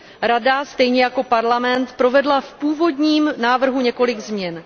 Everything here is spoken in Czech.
Rada stejně jako Evropský parlament provedla v původním návrhu několik změn.